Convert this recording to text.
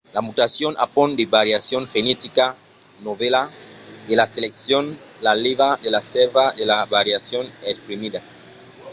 la mutacion apond de variacion genetica novèla e la seleccion la lèva de la sèrva de la variacion exprimida